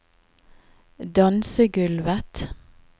dansegulvet